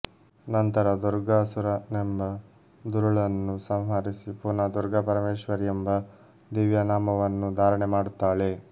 ನಂತರ ದುರ್ಗಾಸುರನೆಂಬ ದುರುಳನ್ನು ಸಂಹರಿಸಿ ಪುನಃ ದುರ್ಗಾಪರಮೇಶ್ವರೀ ಎಂಬ ದಿವ್ಯನಾಮವನ್ನು ಧಾರಣೆ ಮಾಡುತ್ತಾಳೆ